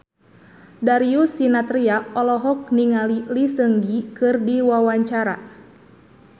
Darius Sinathrya olohok ningali Lee Seung Gi keur diwawancara